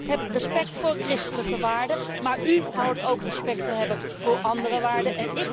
Ik heb respect voor christelijke waarden, maar u dient ook respect te hebben voor andere waarden.